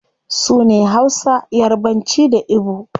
Sune hausa, yarbanci, da igbo